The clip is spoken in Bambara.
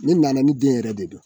Ne nana ni den yɛrɛ de don